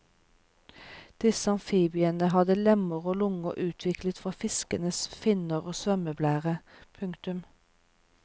Disse amfibiene hadde lemmer og lunger utviklet fra fiskenes finner og svømmeblære. punktum